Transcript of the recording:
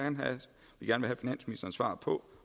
svar på